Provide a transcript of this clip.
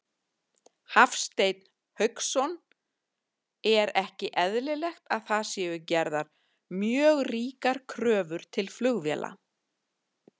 Hafsteinn Hauksson: Er ekki eðlilegt að það séu gerðar mjög ríkar kröfur til flugvéla?